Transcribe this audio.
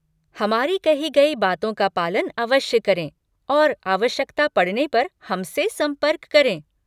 हमारी कही गई बातों का पालन अवश्य करें और आवश्यकता पड़ने पर हमसे संपर्क करें।